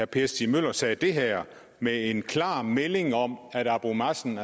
per stig møller sagde det her med en klar melding om at abu mazen